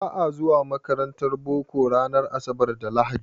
Ba a zuwa makarantar boko ranar asabar da lahadi.